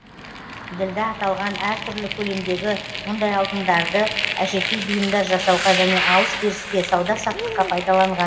ділда аталған әртүрлі көлемдегі мұндай алтындарды әшекей бұйымдар жасауға және алыс беріске сауда саттыққа пайдаланған